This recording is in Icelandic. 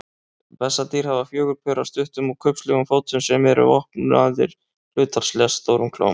Bessadýr hafa fjögur pör af stuttum og kubbslegum fótum sem eru vopnaðir hlutfallslega stórum klóm.